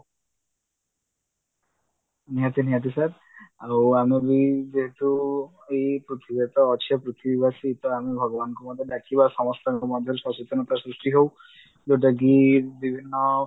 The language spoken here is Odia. ନିହାତି ନିହାତି sir ଆଉ ଆମେ ବି ଯେହେତୁ ଏଇ ପୃଥିବୀରେ ତ ଅଛେ ପୃଥିବୀ ବାସୀ ତ ଆମେ ଭଗବାନଙ୍କୁ ମଧ୍ୟ ଡାକିବା ସମସ୍ତଙ୍କ ମଧ୍ୟରେ ସଚେତନତା ସୃଷ୍ଟି ହଉ ଯଉଟାକି ବିଭିନ୍ନ